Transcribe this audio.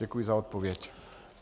Děkuji za odpověď.